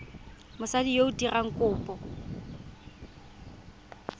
mosadi yo o dirang kopo